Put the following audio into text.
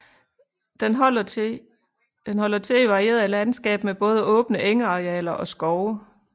Den holder til i varieret landskab med både åbne engarealer og skove